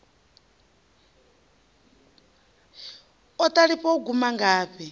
o ṱalifha u guma ngafhi